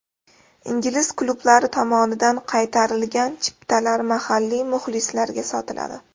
Ingliz klublari tomonidan qaytarilgan chiptalar mahalliy muxlislarga sotiladi.